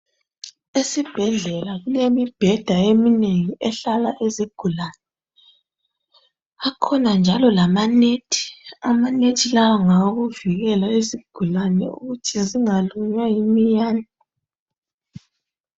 Esibhedlela kulemibheda eminengi ehlala izigulane. Akhona njalo lamanethi, amanethi lawa ngawokuvikela izigulane ukuthi zingalunywa yiminyane.